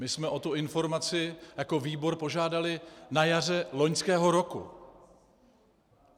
My jsme o tu informaci jako výbor požádali na jaře loňského roku.